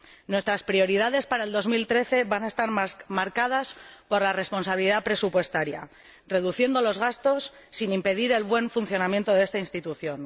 Nuestras prioridades para el 2013 van a estar marcadas por la responsabilidad presupuestaria, reduciendo los gastos sin impedir el buen funcionamiento de esta institución.